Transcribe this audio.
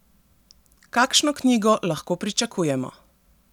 Kakšno knjigo lahko pričakujemo?